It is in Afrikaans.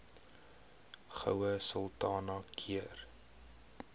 goue sultana keur